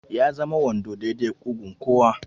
Ya zama wando daidai da ƙugun kowa.